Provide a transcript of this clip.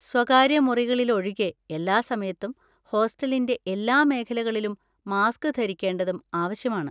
സ്വകാര്യ മുറികളിലൊഴികെ എല്ലാ സമയത്തും ഹോസ്റ്റലിന്‍റെ എല്ലാ മേഖലകളിലും മാസ്‌ക് ധരിക്കേണ്ടതും ആവശ്യമാണ്.